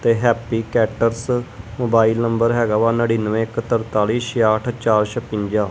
ਤੇ happy caters mobile number ਹੈਗਾ ਨੜਿੰਨਵੇਂ ਇੱਕ ਤਰਤਾਲੀ ਛੇਆਹਟ ਚਾਰ ਸਪੰਜਾ।